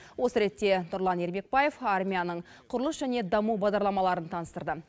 осы ретте нұрлан ермекбаев армияның құрылыс және даму бағдарламаларын таныстырды